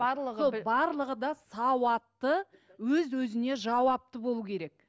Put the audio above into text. барлығы барлығы да сауатты өз өзіне жауапты болу керек